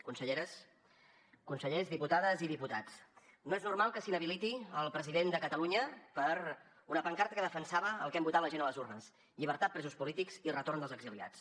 conselleres consellers diputades i diputats no és normal que s’inhabiliti el president de catalunya per una pancarta que defensava el que hem votat la gent a les urnes llibertat presos polítics i retorn dels exiliats